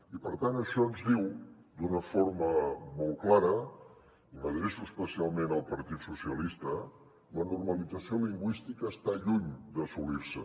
i per tant això ens diu d’una forma molt clara i m’adreço especialment al partit socialistes la normalització lingüística està lluny d’assolir se